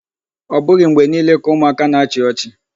Ọ bụghị mgbe niile ka ụmụaka na-achị ọchị.